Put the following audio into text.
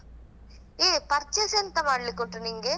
ಯೇ purchase ಎಂತ ಮಾಡ್ಲಿಕುಂಟು ನಿಂಗೆ?